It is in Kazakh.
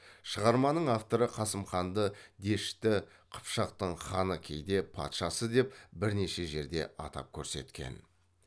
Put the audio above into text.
шығарманың авторы қасым ханды дешті қыпшақтың ханы кейде патшасы деп бірнеше жерде атап көрсеткен